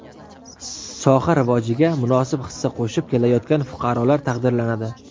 soha rivojiga munosib hissa qo‘shib kelayotgan fuqarolar taqdirlanadi.